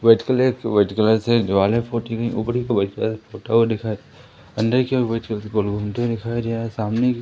white colour की white colour से दीवाले पोती गई ऊपर व्हाइट कलर पोता हुआ दिखाइ दे अंदर की ओर व्हाइट कलर गोल घूमते हुए दिखाया गया है सामने --